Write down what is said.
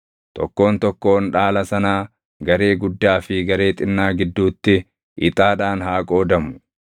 Tokkoon tokkoon dhaala sanaa garee guddaa fi garee xinnaa gidduutti ixaadhaan haa qoodamu.”